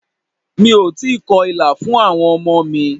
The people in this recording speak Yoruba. Mi ò tíì kọ ìlà fún àwọn ọmọ mi.